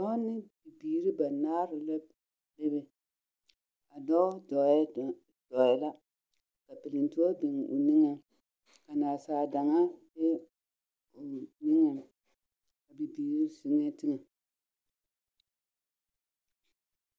Dɔɔ ne bibiiri banaare na be be. A dɔɔ dɔɔɛ…do… dɔɔɛ la, perentoɔ biŋ o niŋeŋ, nasaa daŋaa meŋ biŋ o niŋeŋ. Bibiiri zeŋɛɛ teŋɛ.